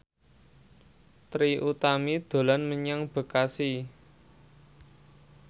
Trie Utami dolan menyang Bekasi